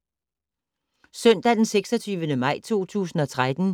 Søndag d. 26. maj 2013